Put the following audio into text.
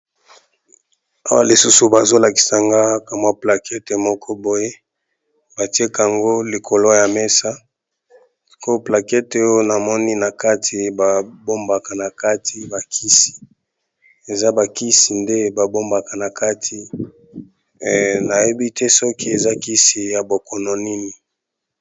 Awa lisusu bazolakisa ngaka mwa plakete moko boye batiekango likolo ya mesa ko plakete oyo namoni na kati babombaka na kati bakisi eza bakisi nde babombaka na kati nayebi te soki eza kisi ya bokono nini.